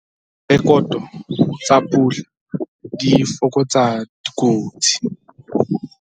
Direkoto tsa pula di fokotsa dikotsi